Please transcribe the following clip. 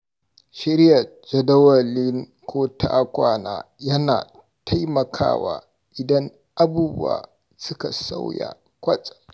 Shirya jadawalin ko-ta-kwana yana taimakawa idan abubuwa suka sauya kwatsam.